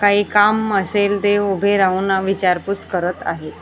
काही काम असेल ते उभे राहून विचारपूस करत आहेत.